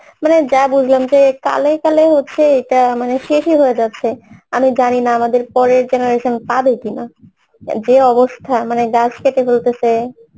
মানে যা বুঝলাম যে কালে কালে হচ্ছে এইটা মানে শেষই হয়ে যাচ্ছে আমি জানি না আমাদের পরের generation আর পাবে কি না যে অবস্থা মানে গাছ কেটে ফেলতেসে